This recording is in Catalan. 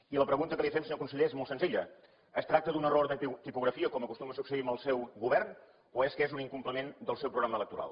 i la pregunta que li fem senyor conseller és molt senzilla es tracta d’un error de tipografia com acostuma a succeir amb el seu govern o és que és un incompliment del seu programa electoral